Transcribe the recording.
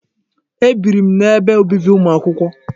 Ebiri m n'ebe obibi ụmụ akwụkwọ.